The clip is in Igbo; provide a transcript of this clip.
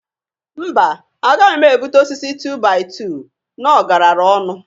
Mba! Agaghị m ebuta osisi tu-bai-tu n'ọgarara ọnụ.